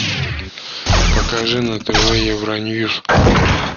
покажи на тв евроньюс